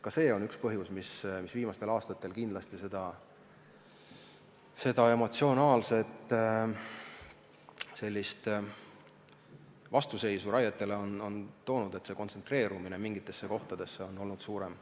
Ka see on üks põhjus, mis viimastel aastatel seda emotsionaalset vastuseisu on raie suhtes tekitanud – kontsentreerumine mingitesse kohtadesse on olnud suurem.